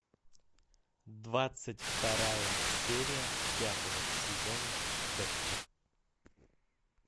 двадцать вторая серия пятого сезона декстер